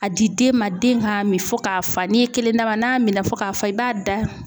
A di den ma den ka min fɔ ka fa. N'i ye kelen d'a ma, n'a minna fɔ k'a fa i b'a da.